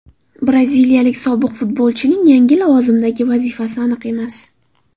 Braziliyalik sobiq futbolchining yangi lavozimdagi vazifasi aniq emas.